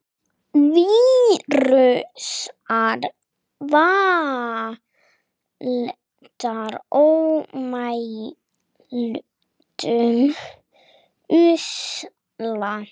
Vírusar valda ómældum usla.